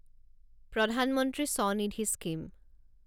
প্ৰধান মন্ত্ৰী স্বনিধি স্কিম